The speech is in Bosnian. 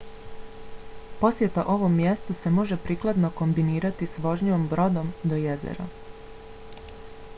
posjeta ovom mjestu se može prikladno kombinirati s vožnjom brodom do jezera